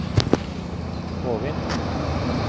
Hovin